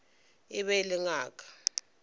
e be e le ngaka